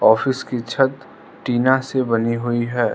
Office की छत टीना से बनी हुई है।